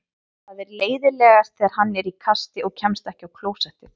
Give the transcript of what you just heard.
Það er leiðinlegast þegar hann er í kasti og kemst ekki á klósettið.